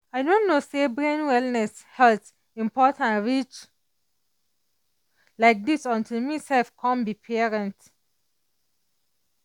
i no know say brain wellness health important reach like this until me sef come be parent.